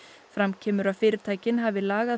fram kemur að fyrirtæki hafi lagað